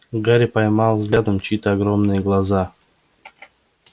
гарри поймал взглядом чьи-то огромные глаза